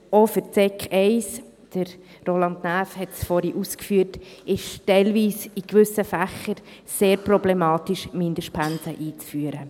Auch für die Sekundarstufe I – Roland Näf hat es vorhin ausgeführt – ist es teilweise, in gewissen Fächern, sehr problematisch, Mindestpensen einzuführen.